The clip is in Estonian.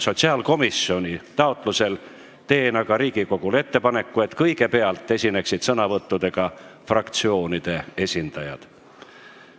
Sotsiaalkomisjoni taotlusel teen aga Riigikogule ettepaneku, et kõigepealt esineksid sõnavõttudega fraktsioonide esindajad.